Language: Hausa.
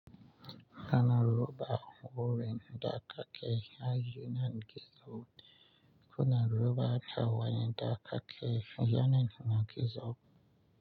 Ana raba wurin da aka kai haye na gizo. Kuna ruba akawun da aka ke haye na gizo.